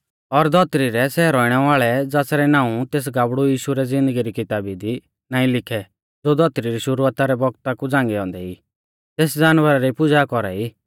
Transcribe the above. और धौतरी रै सै रौइणै वाल़ै ज़ासरै नाऊं तेस गाबड़ु यीशु रै ज़िन्दगी री किताबी दी नाईं लिखै ज़ो धौतरी रै शुरुआता रै बौगता कु झ़ांगै औन्दै ई तेस जानवरा री पुज़ा कौरा ई